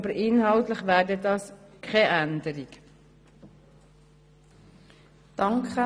Es würde sich aber um keine inhaltliche Änderung handeln.